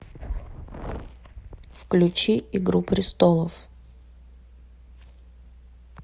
включи игру престолов